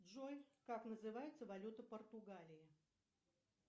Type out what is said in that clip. джой как называется валюта португалии